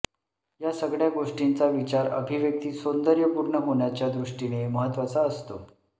या सगळ्या गोष्टींचा विचार अभिव्यक्ती सौंदर्यपूर्ण होण्याच्या दृष्टीने महत्त्वाचा असतो